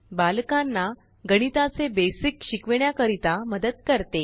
बालकांना गणिताचे बेसिक शिकविण्याकरीता मदत करते